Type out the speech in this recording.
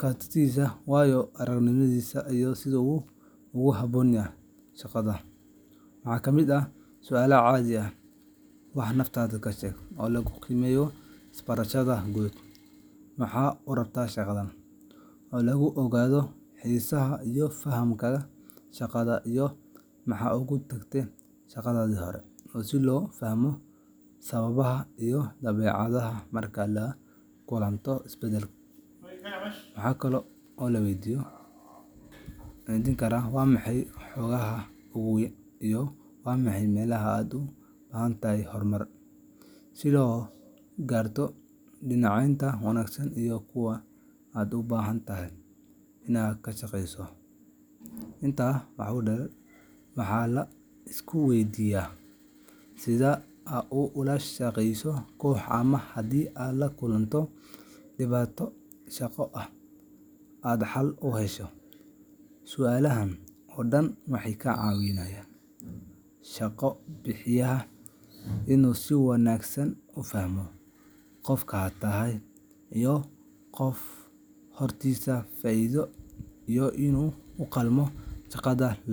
kartidiisa, waayo-aragnimadiisa, iyo sida uu ugu habboon yahay booska banaan. Waxaa ka mid ah su’aalo caadi ah sida: “Wax naftaada ka sheeg” oo lagu qiimeeyo isbarashadaada guud, “Maxaad u rabtaa shaqadan?” oo lagu ogaado xiisahaaga iyo fahamkaaga shaqada, iyo “Maxaad uga tagtay shaqadii hore?” si loo fahmo sababahaaga iyo dabeecaddaada marka aad la kulanto isbeddel. Waxa kale oo lagu weydiin karaa “Waa maxay xooggaaga ugu weyn?” iyo “Waa maxay meelaha aad u baahan tahay horumar?” si loo garto dhinacyada wanaagsan iyo kuwa aad u baahan tahay inaad ka shaqeyso. Intaa waxaa dheer, waxaa la iska weydiiyaa sida aad ula shaqeyso koox, ama haddii aad la kulantay dhibaato shaqo oo aad xal u heshay. Su’aalahan oo dhan waxay ka caawiyaan shaqo-bixiyaha inuu si wanaagsan u fahmo qofka hortiisa fadhiya iyo in uu u qalmo shaqada.